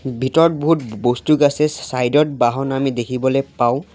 ভিতৰত বহুত বস্তু আছে চ-চাইদত বাহন আমি দেখিবলৈ পাওঁ।